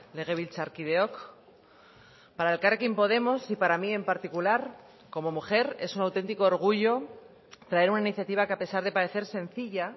legebiltzarkideok para elkarrekin podemos y para mí en particular como mujer es un auténtico orgullo traer una iniciativa que a pesar de parecer sencilla